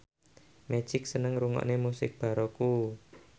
Magic seneng ngrungokne musik baroque